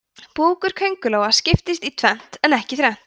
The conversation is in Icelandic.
búkur kóngulóa skiptist í tvennt en ekki þrennt